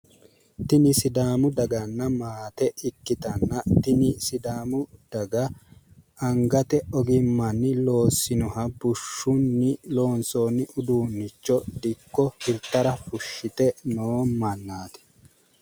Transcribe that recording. tini sidaami daganna maate ikkitanna tini sidaamu daga angate ogimmanni loossinoha bushshunni loonsoonni uduunnicho dikko hirtara fushshite noo mannaati.